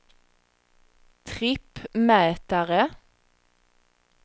trippmätare